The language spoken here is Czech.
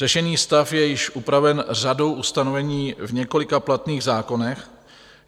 Řešený stav je již upraven řadou ustanovení v několika platných zákonech.